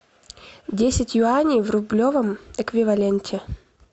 десять юаней в рублевом эквиваленте